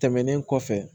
Tɛmɛnen kɔfɛ